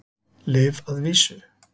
Lyf að vísu.